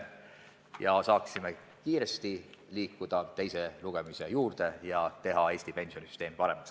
Nii saaksime kiiresti liikuda edasi teise lugemise juurde ja teha Eesti pensionisüsteem paremaks.